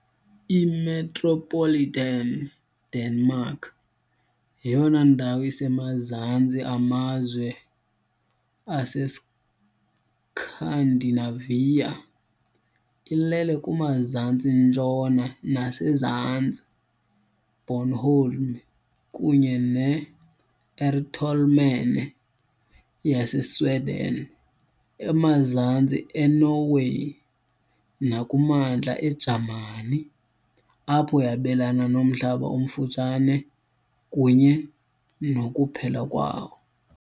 I-Metropolitan Denmark yeyona ndawo isemazantsi amazwe aseScandinavia, ilele kumazantsi-ntshona nasezantsi, Bornholm kunye ne- Ertholmene, yaseSweden, emazantsi eNorway, nakumantla eJamani, apho yabelana nomhlaba omfutshane kunye nokuphela kwawo.